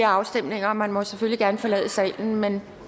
afstemninger og man må selvfølgelig gerne forlade salen men